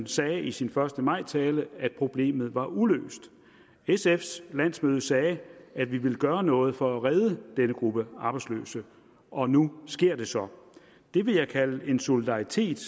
sagde i sin første maj tale at problemet var uløst sf’s landsmøde sagde at vi ville gøre noget for at redde denne gruppe arbejdsløse og nu sker det så det vil jeg kalde solidaritet